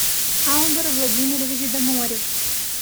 алдр владимирович доморев